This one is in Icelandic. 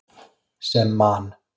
Sem Man.